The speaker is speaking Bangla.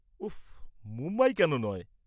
উফ, মুম্বাই কেন নয়?